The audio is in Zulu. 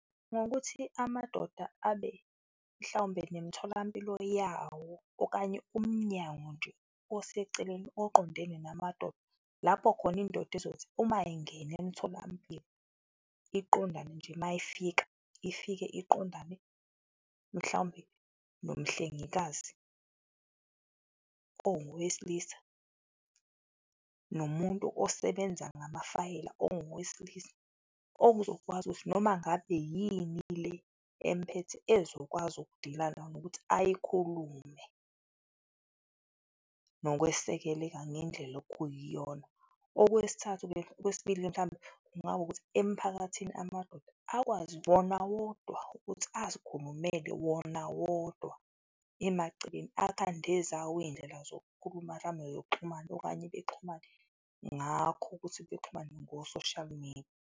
Ngokuthi amadoda abe mhlawumbe nemitholampilo yawo okanye umnyango nje oseceleni oqondene namadoda, lapho khona indoda izothi uma ingena emtholampilo, iqondane nje mayifika, ifike iqondane mhlawumbe nomhlengikazi owesilisa nomuntu osebenza ngamafayela ongowesilisa okuzokwazi ukuthi noma ngabe yini le emphethe, ezokwazi uku-deal-a nayo nokuthi ayikhulume nokwesekeleka ngendlela okuyiyona. Okwesithathu-ke, okwesibili mhlawumbe, kungaba ukuthi emphakathini amadoda akwazi wona wodwa ukuthi azikhulukumele wona wodwa emaceleni, akhande ezawo izindlela zokukhuluma mhlawumbe zokuxhumana okanye bexhumane ngakho ukuthi bexhumane ngo-social media.